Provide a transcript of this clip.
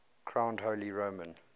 crowned holy roman